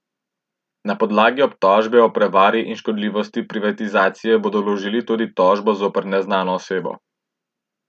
Na podlagi obtožbe o prevari in škodljivosti privatizacije bodo vložili tudi tožbo zoper neznano osebo.